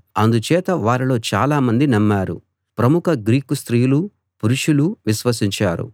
అందుచేత వారిలో చాలామంది నమ్మారు ప్రముఖ గ్రీకు స్త్రీలూ పురుషులూ విశ్వసించారు